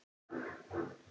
Nýtt hugtak!